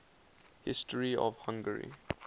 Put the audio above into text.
history of hungary